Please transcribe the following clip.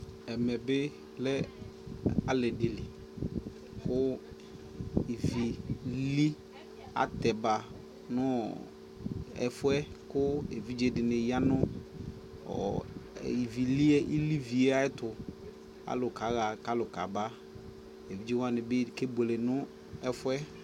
ɛmɛ bi lɛ ali dili kʋ ivi lili atɛba nʋ ɛƒʋɛ kʋ ɛvidzɛ dini yanʋ iviliɛ ayɛtʋ, alʋ kaha kʋ alʋ kaba, ɛvidzɛ wani bikɛbʋɛlɛ nʋ ɛƒʋɛ